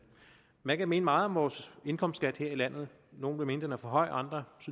man kan mene meget om vores indkomstskat her i landet nogle vil mene den er for høj og andre